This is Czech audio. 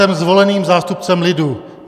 Jsem zvoleným zástupcem lidu!